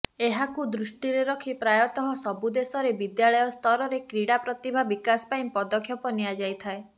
ଏହାକୁ ଦୃଷ୍ଟିରେ ରଖି ପ୍ରାୟତଃ ସବୁ ଦେଶରେ ବିଦ୍ୟାଳୟସ୍ତରରେ କ୍ରୀଡ଼ା ପ୍ରତିଭା ବିକାଶ ପାଇଁ ପଦକ୍ଷେପ ନିଆଯାଇଥାଏ